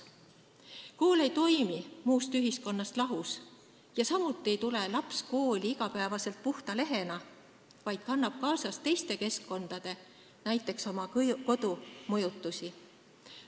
Kool ei toimi muust ühiskonnast lahus ja samuti ei tule laps iga päev kooli puhta lehena, vaid kannab kaasas teiste keskkondade, näiteks oma kodu mõjutusi.